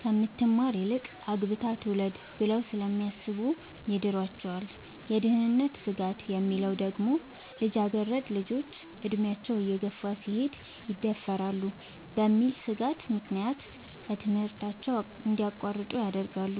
ከምትማር ይልቅ አግብታ ትውለድ ብለው ስለሚያሥቡ ይድሯቸዋል። የደህንነት ስጋት የሚለው ደግሞ ልጃገረድ ልጆች አድሚያቸው እየገፋ ሲሄድ ይደፈራሉ በሚል ሥጋት ምክንያት ከትምህርታቸው እንዲያቋርጡ ይደረጋሉ።